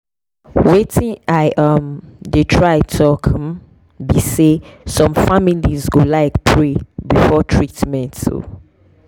wetin i um dey try talk um be say some families go like pray before treatment. um